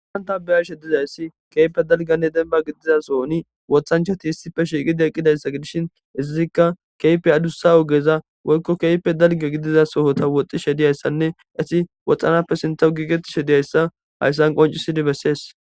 Wanta beyashe dizayssi keype dalganne demba gidiza sohoni wothanchati hissife shiiqi deqqidayssa gidishin izazikka keype adussa ogeza woykko keype dalga gidiza sohota woxxishe diyayssanne isi woxxanappe sinta giigetishe diyayssa hayssan qoncisidi bessees.